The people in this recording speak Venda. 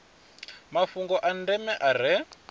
mafhungo a ndeme a re